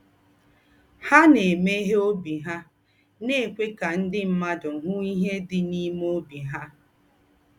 Há na-eméghè óbì hà, na-èkwé kà ndị̀ mmádụ̀ hụ́ íhè dị̀ n’ímè óbì hà